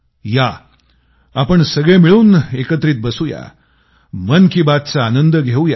या आपण सगळे मिळून एकत्रित बसू या मन की बातचा आनंद घेवूया